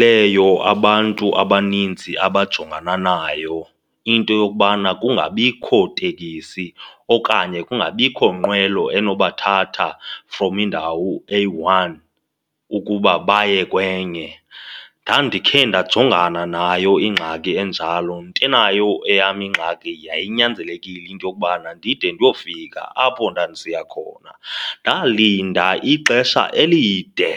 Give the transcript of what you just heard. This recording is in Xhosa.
leyo abantu abaninzi abajongana nayo, into yokubana kungabikho tekisi okanye kungabikho nqwelo enobathatha from indawo eyi-one ukuba baye kwenye. Ndandikhe ndajongana nayo ingxaki enjalo, ntenayo eyam ingxaki yayinyanzelekile into yokubana ndide ndiyofika apho ndandisiya khona. Ndalinda ixesha elide